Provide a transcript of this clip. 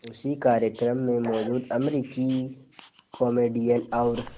उसी कार्यक्रम में मौजूद अमरीकी कॉमेडियन और